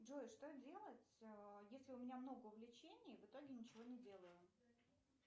джой что делать если у меня много увлечений в итоге ничего не делаю